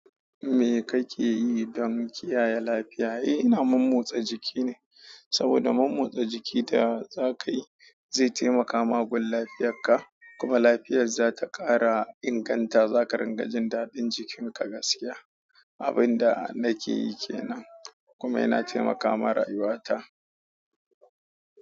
Me kake yi don kiyaye lafiya? Eh, ina mormotsa jiki ne, saboda mormotsa jiki da za ka yi zai taimakama gun lafiyarka, kuma lafiyar za ta ƙara inganta. Za ka ringajin daɗin jikinka gaskiya. Abun da na ke yi ke nan, kuma yana taimaka ma rayuwata.